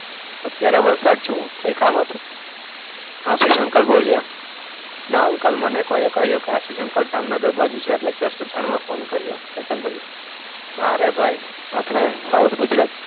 અત્યારે વલસાડ છું. કંઈ કામ હતું? આશિષ અંકલ બોલ્યા. ના અંકલ મને કોઈએ કહ્યું કે આશિષ અંકલ જામનગર બાજુ છે એટલે જસ્ટ જાણવા ફોન કર્યો. ચેતન બોલ્યો. ના રે ભાઈ આપણે સાઉથ ગુજરાત,